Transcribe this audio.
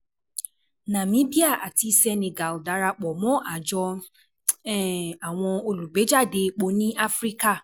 Nàmíbíà àti Senegal darapọ̀ mọ́ Àjọ um Àwọn Olùgbéejáde Epo ní Áfíríkà